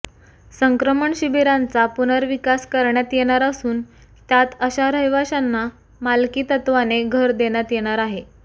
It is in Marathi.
संक्रमण शिबिरांचा पुनर्विकास करण्यात येणार असून त्यात अशा रहिवाशांना मालकी तत्त्वाने घर देण्यात येणार आहे